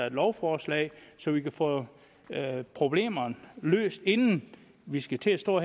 et lovforslag så vi kan få problemerne løst inden vi skal til at stå